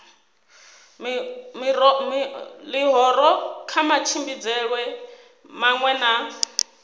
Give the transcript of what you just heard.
ḽihoro kha matshimbidzelwe maṅwe na